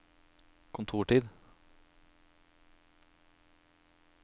kontortid